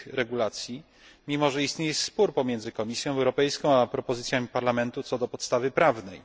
tych regulacji, mimo że istnieje spór pomiędzy Komisją Europejską, a propozycjami Parlamentu co do podstawy prawnej.